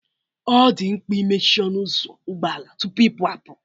Ọ dị mkpa imechi ọnụ ụzọ ụgbọ ala tupu ịpụ apụ